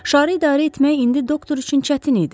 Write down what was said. Şarı idarə etmək indi doktor üçün çətin idi.